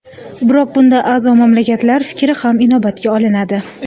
Biroq bunda a’zo mamlakatlar fikri ham inobatga olinadi.